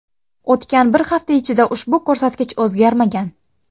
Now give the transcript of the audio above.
O‘tgan bir hafta ichida ushbu ko‘rsatkich o‘zgarmagan.